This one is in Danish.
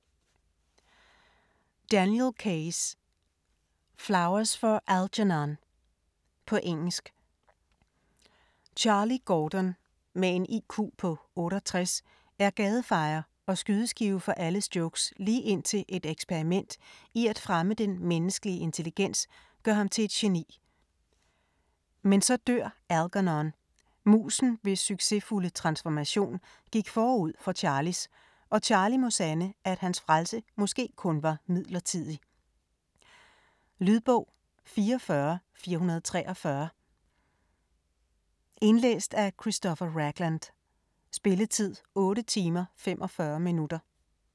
Keyes, Daniel: Flowers for Algernon På engelsk. Charlie Gordon, med en IQ på 68, er gadefejer og skydeskive for alles jokes lige indtil et eksperiment i at fremme den menneskelige intelligens gør ham til et geni. Men så dør Alegernon, musen hvis succesfulde transformation gik forud for Charlies og Charlie må sande, at hans frelse måske kun var midlertidig. Lydbog 44443 Indlæst af Christopher Ragland. Spilletid: 8 timer, 45 minutter.